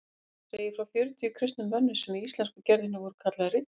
Hún segir frá fjörutíu kristnum mönnum sem í íslensku gerðinni voru kallaðir riddarar.